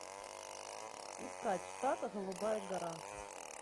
искать штат голубая гора